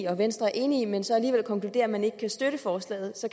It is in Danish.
og venstre er enig i men så alligevel konkludere at man ikke kan støtte forslaget så